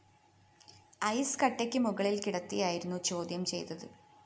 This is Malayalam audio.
ഐസ്‌കട്ടക്കു മുകളില്‍ കിടത്തിയായിരുന്നു ചോദ്യം ചെയ്തത്